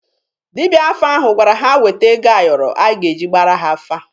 Dibịa afa ahụ gwara ha weta ego ayọrọ a ga-eji gbaara ha afa